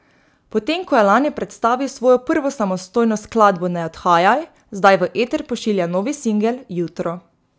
Potem ko je lani predstavil svojo prvo samostojno skladbo Ne odhajaj, zdaj v eter pošilja novi singel Jutro.